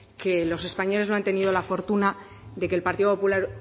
que los españoles no han tenido la fortuna de que el partido popular